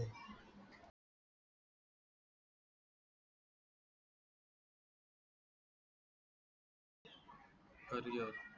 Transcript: हरया